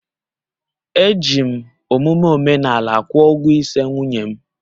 Eji m omume omenala kwụọ ụgwọ ịse nwunye m